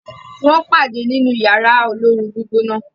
wón pade nínú Yàrá olóoru-gbígbóná.